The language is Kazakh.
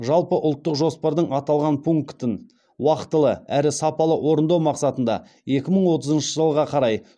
жалпыұлттық жоспардың аталған пунктін уақытылы әрі сапалы орындау мақсатында екі мың отызыншы жылға қарай